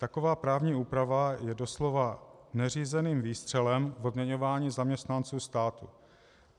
Taková právní úprava je doslova neřízeným výstřelem v odměňování zaměstnanců státu.